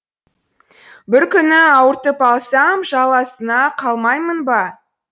бір күні ауыртып алсам жаласына қалмаймын ба